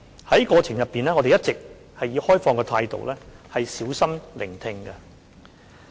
在過程中，我們一直以開放的態度小心聆聽。